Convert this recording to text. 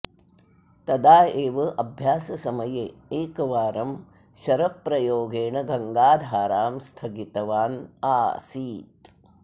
तदा एव अभ्याससमये एकवारं शरप्रयोगेण गङ्गाधारां स्थगितवान् आसीत्